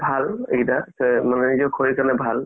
ভাল এইকেইটা কৰি কিনে ভাল